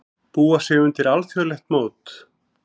Búa sig undir alþjóðlegt mót